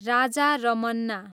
Raja Ramanna